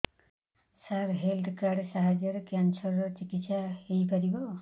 ସାର health card ସାହାଯ୍ୟରେ cancer ର ଚିକିତ୍ସା ହେଇପାରିବ